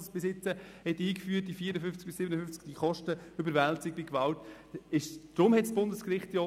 Dieser hat sie bisher als einziger Kanton eingeführt.